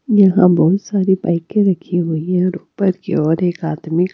यहां बहुत सारी बाईकें रखी हुई हैं और ऊपर की ओर एक आदमी--